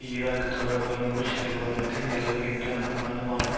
Iraq தொடர்பான Bush நிர்வாகத்தில் நிலவுகின்ற ஆழமான